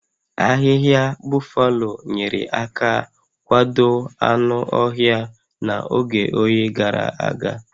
Ahịhịa Buffalo nyere aka kwado anụ ọhịa n'oge oyi gàrà aga